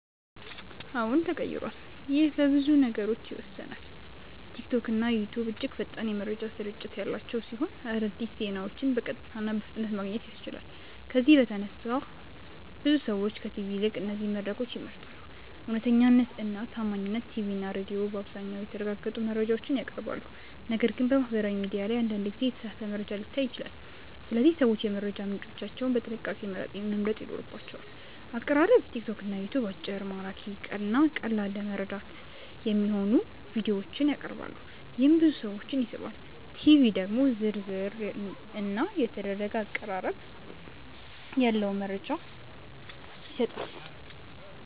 አዎን ተቀይሯል ይህ በብዙ ነገሮች ይወሰናል። ቲክቶክና ዩትዩብ እጅግ ፈጣን የመረጃ ስርጭት ያላቸው ሲሆን አዲስ ዜናዎችን በቀጥታ እና በፍጥነት ማግኘት ያስችላሉ። ከዚህ በተነሳ ብዙ ሰዎች ከቲቪ ይልቅ እነዚህን መድረኮች ይመርጣሉ። እውነተኛነት እና ታማኝነት ቲቪ እና ሬዲዮ በአብዛኛው የተረጋገጡ መረጃዎችን ያቀርባሉ፣ ነገር ግን በማህበራዊ ሚዲያ ላይ አንዳንድ ጊዜ የተሳሳተ መረጃ ሊታይ ይችላል። ስለዚህ ሰዎች የመረጃ ምንጮቻቸውን በጥንቃቄ መምረጥ ይኖርባቸዋል። አቀራረብ ቲክቶክ እና ዩትዩብ አጭር፣ ማራኪ እና ቀላል ለመረዳት የሚሆኑ ቪዲዮዎችን ያቀርባሉ፣ ይህም ብዙ ሰዎችን ይስባል። ቲቪ ደግሞ ዝርዝር እና የተደረገ አቀራረብ ያለው መረጃ ይሰጣል።